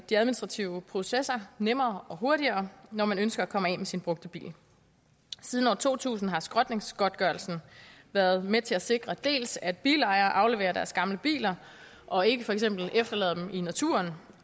de administrative processer nemmere og hurtigere når man ønsker at komme af med sin brugte bil siden år to tusind har skrotningsgodtgørelsen været med til at sikre dels at bilejere afleverer deres gamle biler og ikke for eksempel efterlader dem i naturen